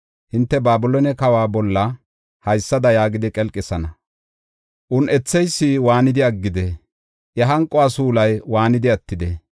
hinte Babiloone kawa bolla haysada yaagidi qelqisana. Un7etheysi waanidi aggidee? Iya hanquwa suulay waanidi attidee?